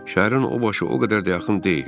Şəhərin o başı o qədər də yaxın deyil.